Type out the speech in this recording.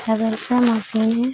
हैवेल्स का मशीन हैं।